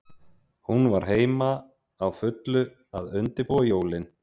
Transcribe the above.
Hún var heima, á fullu að undirbúa jólin.